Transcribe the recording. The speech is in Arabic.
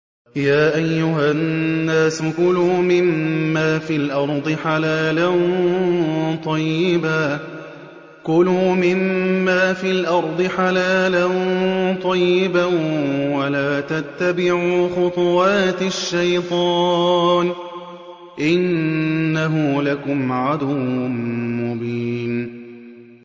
يَا أَيُّهَا النَّاسُ كُلُوا مِمَّا فِي الْأَرْضِ حَلَالًا طَيِّبًا وَلَا تَتَّبِعُوا خُطُوَاتِ الشَّيْطَانِ ۚ إِنَّهُ لَكُمْ عَدُوٌّ مُّبِينٌ